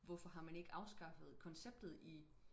hvorfor har man ikke afskaffet konceptet i